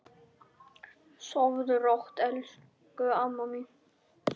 Sofðu rótt, elsku amma mín.